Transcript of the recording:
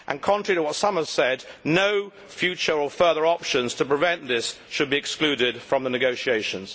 Contrary to what some have said, no future or further options to prevent this should be excluded from the negotiations.